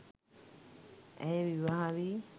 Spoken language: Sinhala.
ඇය විවාහවී